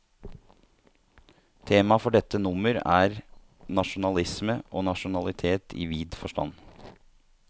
Temaet for dette nummer er, nasjonalisme og nasjonalitet i vid forstand.